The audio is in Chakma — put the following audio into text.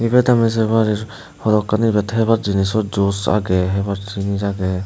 ibet ami sey parir hodokkani ibet hebar jinich o juice agey hebar jinich agey.